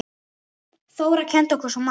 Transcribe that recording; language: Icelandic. Þóra kenndi okkur svo margt.